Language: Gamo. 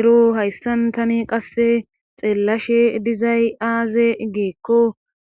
Ero hayssan tani qasse xeellashe dizay aaze giikko